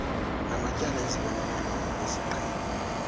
namatyala ezibonelelo ngokwesiqhelo